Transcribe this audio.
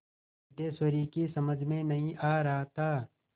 सिद्धेश्वरी की समझ में नहीं आ रहा था